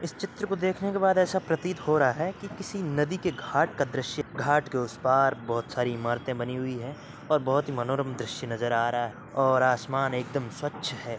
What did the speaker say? इस चित्र को देखने के बाद ऐसा प्रतीत हो रहा है कि किसी नदी के घाट का दृश्य है। घाट के उस पार बहुत सारी इमारतें बनी हुई है और बहुत ही मनोरम दृश्य नजर आ रहा है और आसमान एकदम स्वच्छ है।